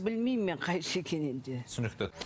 білмеймін мен қайсы екенін енді түсінікті